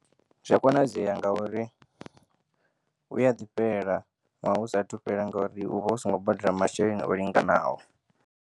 Zwi a konadzeya ngauri u ya ḓifhela ṅwaha u sathu fhela ngauri u vha usongo badela masheleni o linganaho.